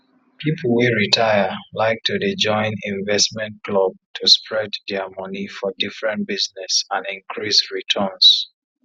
people wey retire like to dey join investment club to spread their money for different business and increase returns